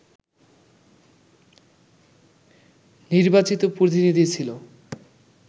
নির্বাচিত প্রতিনিধি ছিল